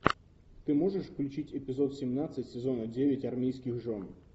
ты можешь включить эпизод семнадцать сезона девять армейских жен